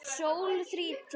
Sól þrýtur.